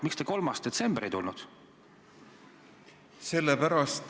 Miks te 3. detsembril ei tulnud?